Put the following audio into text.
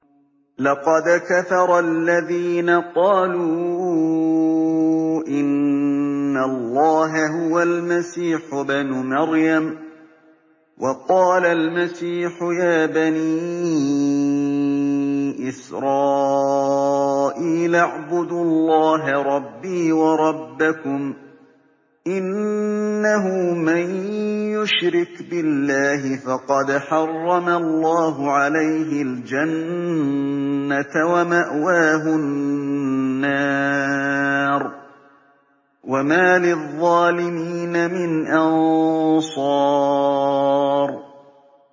لَقَدْ كَفَرَ الَّذِينَ قَالُوا إِنَّ اللَّهَ هُوَ الْمَسِيحُ ابْنُ مَرْيَمَ ۖ وَقَالَ الْمَسِيحُ يَا بَنِي إِسْرَائِيلَ اعْبُدُوا اللَّهَ رَبِّي وَرَبَّكُمْ ۖ إِنَّهُ مَن يُشْرِكْ بِاللَّهِ فَقَدْ حَرَّمَ اللَّهُ عَلَيْهِ الْجَنَّةَ وَمَأْوَاهُ النَّارُ ۖ وَمَا لِلظَّالِمِينَ مِنْ أَنصَارٍ